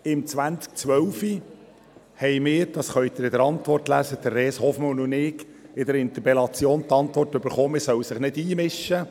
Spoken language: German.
Im Jahr 2012 – das können Sie in der Antwort lesen – erhielten wir, Res Hofmann und ich, auf unsere Interpellation die Antwort, man solle sich nicht einmischen.